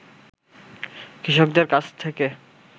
কৃষকদের কাছ থেকে